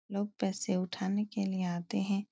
लोग पैसे उठाने के लिए आते हैं ।